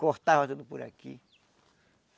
Cortava tudo por aqui.